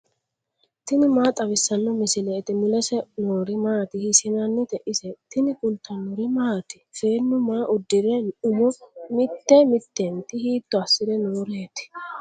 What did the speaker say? tini maa xawissanno misileeti ? mulese noori maati ? hiissinannite ise ? tini kultannori maati? Seennu maa udirre umo mitte mittentti hiitto asire nooreetti?